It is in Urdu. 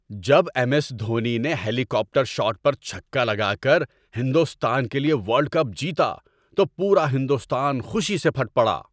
جب ایم ایس دھونی نے ہیلی کاپٹر شاٹ پر چھکا لگا کر ہندوستان کے لیے ورلڈ کپ جیتا تو پورا ہندوستان خوشی سے پھٹ پڑا ۔